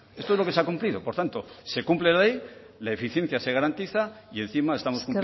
esto es lo que se ha cumplido por tanto se cumple la ley la eficiencia se garantiza y encima estamos